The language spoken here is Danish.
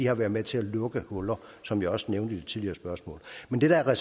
har været med til at lukke huller som jeg også nævnte i mit tidligere spørgsmål men det der er